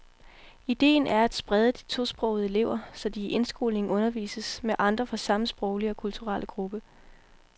Ideen er at sprede de tosprogede elever, så de i indskolingen undervises med andre fra samme sproglige og kulturelle gruppe.